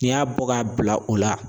N'i y'a bɔ k'a bila o la